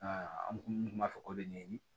an kun b'a fɔ k'o bɛ ɲɛɲini